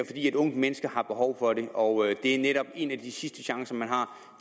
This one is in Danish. fordi et ungt menneske har behov for det og det er netop en af de sidste chancer man har